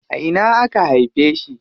A ina aka haife shi?